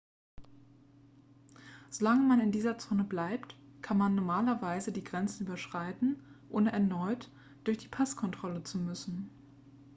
solange man in dieser zone bleibt kann man normalerweise die grenzen überschreiten ohne erneut durch die passkontrolle zu müssen